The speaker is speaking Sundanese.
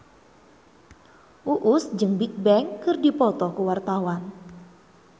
Uus jeung Bigbang keur dipoto ku wartawan